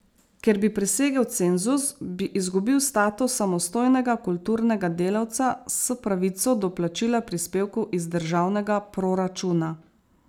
Ker bi presegel cenzus, bi izgubil status samostojnega kulturnega delavca s pravico do plačila prispevkov iz državnega proračuna.